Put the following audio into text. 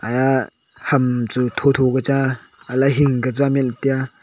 eya ham chu tho tho ke chang a helai hing ke chaman taiya.